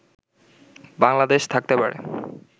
বাংলাদেশ থাকতে পারে